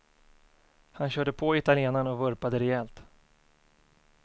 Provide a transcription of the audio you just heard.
Han körde på italienaren och vurpade rejält.